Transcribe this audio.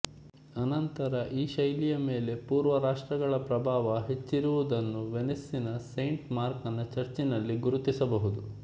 ಅನಂತರ ಈ ಶೈಲಿಯ ಮೇಲೆ ಪುರ್ವ ರಾಷ್ಟ್ರಗಳ ಪ್ರಭಾವ ಹೆಚ್ಚಿರುವುದನ್ನು ವೆನಿಸಿನ ಸೇಂಟ್ ಮಾರ್ಕನ ಚರ್ಚಿನಲ್ಲಿ ಗುರುತಿಸಬಹುದು